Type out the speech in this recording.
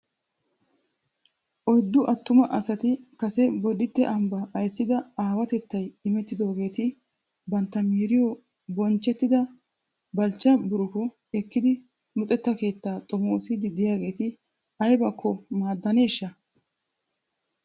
Oyddu attuma asati kase Boditte ambbaa ayssida awatettay imettidogeetti bantta miiriyo bonchchetyida Balchcha Buruko ekkidi luxettaa keettaa xomoossiid diyaageetti aybakko maadaneeshsha?